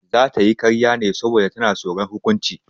Za ta yi ƙarya ne saboda tsoron hukunci.